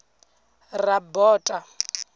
rabota